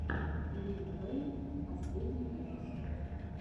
лил вэйн последний выпуск